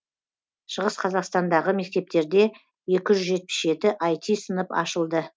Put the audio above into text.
шығыс қазақстандағы мектептерде екі жүз жетпіс жеті аити сынып ашылды